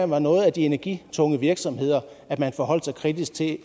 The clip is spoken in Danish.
var nogle af de energitunge virksomheder at man forholdt sig kritisk til